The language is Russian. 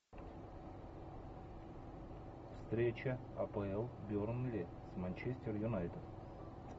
встреча апл бернли с манчестер юнайтед